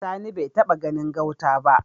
Sani bai taba ganin gauta ba